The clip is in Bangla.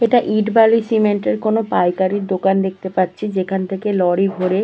এটা ইট বালি সিমেন্ট এর কোনো পাইকারির দোকান দেখতে পাচ্ছি যেখান থেকে লরি ভোরে।